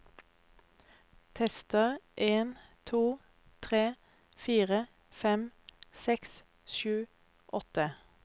Tester en to tre fire fem seks sju åtte